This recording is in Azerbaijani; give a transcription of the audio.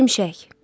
Şimşək.